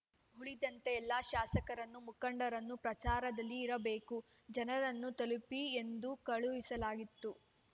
ಉಳಿದಂತೆ ಎಲ್ಲ ಶಾಸಕರನ್ನು ಮುಖಂಡರನ್ನು ಪ್ರಚಾರದಲ್ಲಿ ಇರಬೇಕು ಜನರನ್ನು ತಲುಪಿ ಎಂದು ಕಳುಹಿಸಲಾಗಿತು